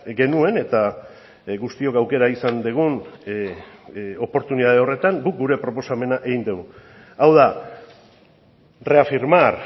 genuen eta guztiok aukera izan dugun oportunitate horretan guk gure proposamena egin dugu hau da reafirmar